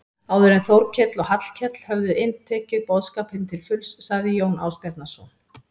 Áður en Þórkell og Hallkell höfðu inntekið boðskapinn til fulls sagði Jón Ásbjarnarson